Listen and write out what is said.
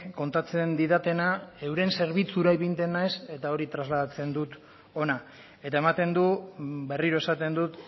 kontatzen didatena euren zerbitzura ipintzen naiz eta hori trasladatzen dut hona eta ematen du berriro esaten dut